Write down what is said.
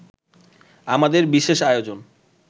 আমাদের বিশেষ আয়োজন